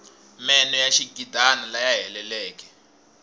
meno ya xigidana laya heleleke